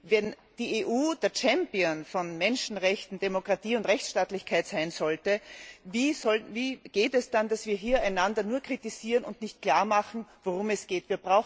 Wenn die EU der Champion bei Menschenrechten, Demokratie und Rechtsstaatlichkeit sein soll, wie geht es dann, dass wir hier einander nur kritisieren und nicht klarmachen, worum es geht.